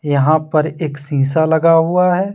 यहां पर एक शीशा लगा हुआ है।